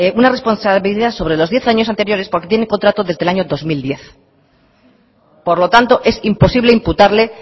una responsabilidad sobre los diez años anteriores porque tiene contrato desde el año dos mil diez por lo tanto es imposible imputarle